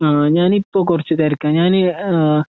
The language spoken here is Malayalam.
ആഹ് ഞാനിപ്പൊ കുറച്ച്തിരക്കാഞാന് ഏഹ്